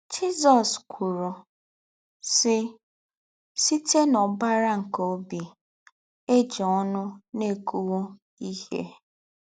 Jizọ́s kwùrù, sị́: “Sītè n’ọ̀bárá nké óbì, é jì̄ ọnù na-ékùwú íhè.